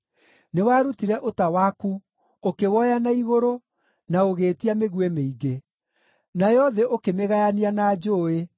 Nĩwarutire ũta waku, ũkĩwoya na igũrũ, na ũgĩĩtia mĩguĩ mĩingĩ. Nayo thĩ ũkĩmĩgayania na njũũĩ;